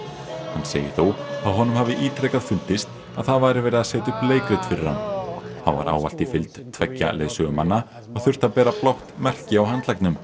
hann segir þó að honum hafi ítrekað fundist að það væri verið að setja upp leikrit fyrir hann hann var ávallt í fylgd tveggja leiðsögumanna og þurfti að bera blátt merki á handleggnum